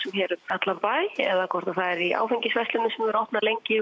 hér um allan bæ eða hvort það er í áfengisverslunum sem eru opnar lengi